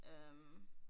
Øh